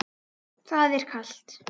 Það er kalt.